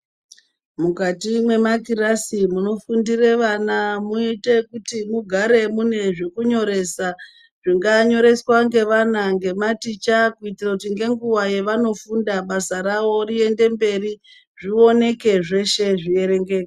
Mukati mwe makirasi muno fundire vana moite kuti mugare mune zveku nyoresa zvinga nyoreswa nge vana nge maticha kuitira kuti nge nguva yavano funda basa ravo riende mberi zvioneke zveshe zvi erengeke.